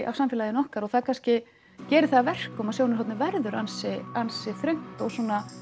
af samfélaginu okkar og það kannski gerir það að verkum að sjónarhornið verður ansi ansi þröngt og